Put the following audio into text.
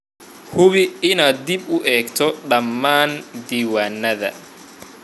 Hubi inaad dib u eegto dhammaan diiwaanada